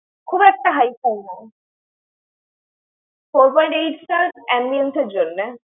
খুব একটা হাইফাই নয়। four point eight star ambience এর জননে।